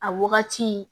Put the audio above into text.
A wagati